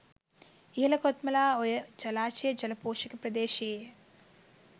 ඉහළ කොත්මලා ඔය ජලාශයේ ජල පෝෂක ප්‍රදේශයේය